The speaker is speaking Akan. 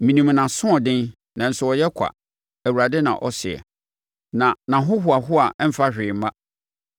Menim nʼasoɔden nanso ɛyɛ ɔkwa,” Awurade na ɔseɛ, “na nʼahohoahoa mfa hwee mma.